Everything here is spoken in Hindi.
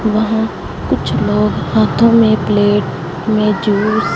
वहां कुछ लोग हाथों में प्लेट में जूस --